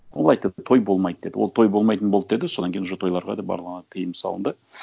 ол айтады той болмайды деді ол той болмайтын болды деді содан кейін уже тойларға да баруға тыйым салынды